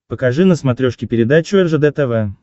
покажи на смотрешке передачу ржд тв